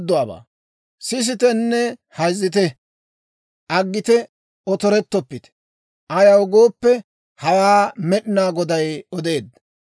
Sisitenne hayzzite; aggite otorettoppite. Ayaw gooppe, hawaa Med'inaa Goday odeedda.